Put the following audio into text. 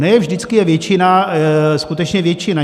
Ne vždycky je většina skutečně většina.